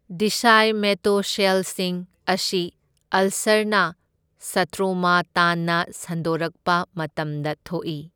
ꯗꯤꯁꯥꯢꯃꯦꯇꯣꯁꯦꯜꯁꯤꯡ ꯑꯁꯤ ꯑꯜꯁꯔꯅ ꯁꯇ꯭ꯔꯣꯃꯥ ꯇꯥꯟꯅ ꯁꯟꯗꯣꯛꯔꯛꯄ ꯃꯇꯝꯗ ꯊꯣꯛꯢ꯫